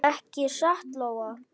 Ekki satt Lóa?